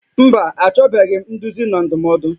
Mba, achọbeghị m nduzi na ndụmọdụ